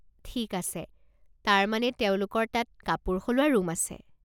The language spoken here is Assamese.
ঠিক আছে, তাৰমানে তেওঁলোকৰ তাত কাপোৰ সলোৱা ৰুম আছে।